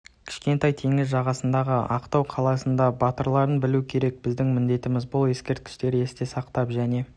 кішкентай теңіз жағасындағы ақтау қаласында батырларын білу керек біздің міндетіміз бұ ескерткіштерді есте сақтап және